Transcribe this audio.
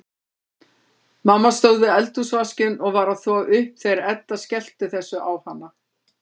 Mamma stóð við eldhúsvaskinn og var að þvo upp þegar Edda skellti þessu á hana.